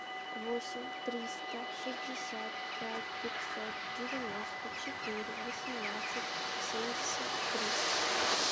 восемь триста шестьдесят пять пятьсот девяносто четыре восемнадцать семьдесят три